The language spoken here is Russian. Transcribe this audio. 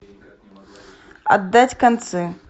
отдать концы